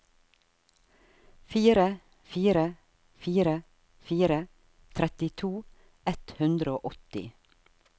fire fire fire fire trettito ett hundre og åtti